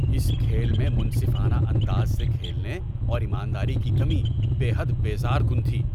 اس کھیل میں منصفانہ انداز سے کھیلنے اور ایمانداری کی کمی بے حد بیزار کن تھی۔